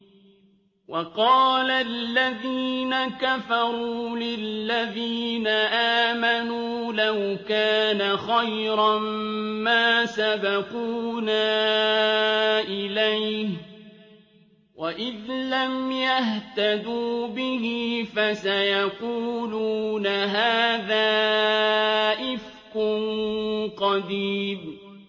وَقَالَ الَّذِينَ كَفَرُوا لِلَّذِينَ آمَنُوا لَوْ كَانَ خَيْرًا مَّا سَبَقُونَا إِلَيْهِ ۚ وَإِذْ لَمْ يَهْتَدُوا بِهِ فَسَيَقُولُونَ هَٰذَا إِفْكٌ قَدِيمٌ